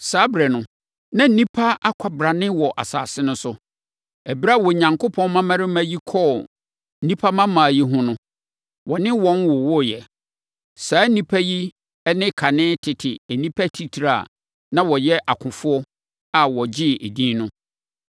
Saa ɛberɛ no, na nnipa akwabrane wɔ asase no so. Ɛberɛ a Onyankopɔn mmammarima yi kɔɔ nnipa mmammaa yi ho no, wɔne wɔn wowoeɛ. Saa nnipa yi ne kane tete nnipa atitire a na wɔyɛ akofoɔ a wɔgyee edin no.